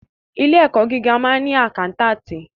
Ilé ẹ̀kọ́ gíga máa ń ni àkántàntì.